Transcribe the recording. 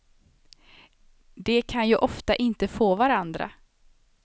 De kan ju ofta inte få varandra.